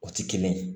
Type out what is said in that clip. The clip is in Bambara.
O ti kelen ye